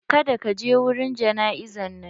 Kada ka je wurin jana'izan nan!